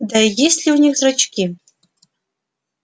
да и есть ли у них зрачки